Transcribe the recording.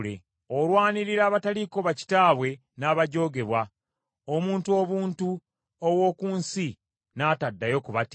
Olwanirira abataliiko bakitaabwe n’abajoogebwa; omuntu obuntu ow’oku nsi n’ataddayo kubatiisa.